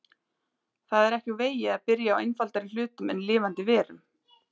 Það er ekki úr vegi að byrja á einfaldari hlutum en lifandi verum.